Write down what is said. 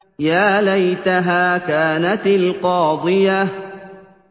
يَا لَيْتَهَا كَانَتِ الْقَاضِيَةَ